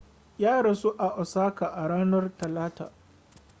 ya rasu a osaka a ranar talata